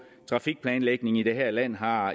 trafikplanlægningen i det her land har